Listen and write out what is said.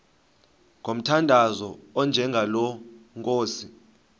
ngomthandazo onjengalo nkosi